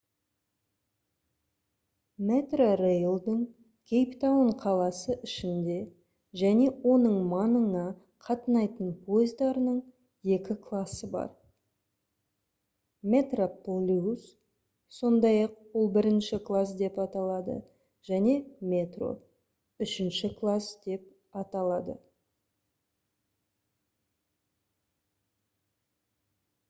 metrorail-дың кейптаун қаласы ішінде және оның маңына қатынайтын пойыздарының екі классы бар: metroplus сондай-ақ ол бірінші класс деп аталады және metro үшінші класс деп аталады